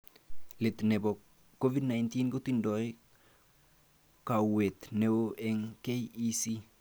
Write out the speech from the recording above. Let nebo Covid-19 kotindoi kauwet neo eng KEC